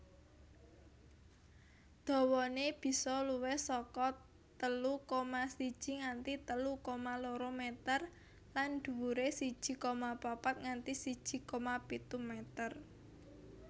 Dawané bisa luwih saka telu koma siji nganti telu koma loro meter lan dhuwuré siji koma papat nganti siji koma pitu meter